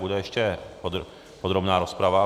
Bude ještě podrobná rozprava.